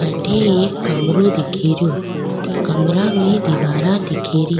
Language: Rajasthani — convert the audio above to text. अठे एक कमरों दिखेरो कमरा में दीवारा दिखेरी।